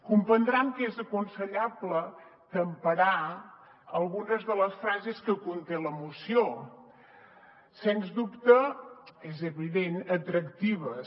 comprendran que és aconsellable temperar algunes de les frases que conté la moció sens dubte és evident atractives